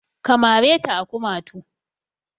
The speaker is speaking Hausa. Ka mare ta a kumatu!